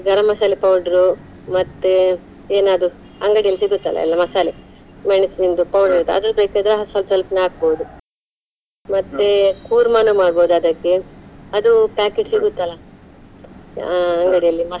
ಗರಂ masala powder ಮತ್ತೆ ಏನಾದ್ರು , ಅಂಗಡಿಯಲ್ಲಿ ಸಿಗುತ್ತಲ್ಲ ಎಲ್ಲಾ ಮಸಾಲೆ, ಮೆಣ್ಸಿಂದು ಅದು ಬೇಕಾದ್ರೆ ಸ್ವಲ್ಪ ಸ್ವಲ್ಪನೆ ಹಾಕ್ಬಹುದು ಕೂರ್ಮನು ಮಾಡ್ಬೋದು ಅದಕ್ಕೆ ಅದು packet ಸಿಗುತ್ತಲ್ಲ ಅಹ್ ಅಂಗಡಿಯಲ್ಲಿ.